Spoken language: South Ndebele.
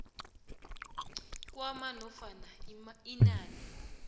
kwamar nofana inani